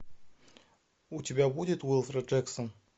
у тебя будет уилфред джексон